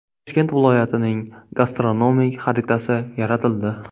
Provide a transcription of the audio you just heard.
Toshkent viloyatining gastronomik xaritasi yaratildi.